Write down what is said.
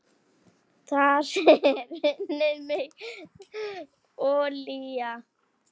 Þar er unnin mikil olía.